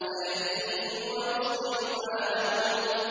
سَيَهْدِيهِمْ وَيُصْلِحُ بَالَهُمْ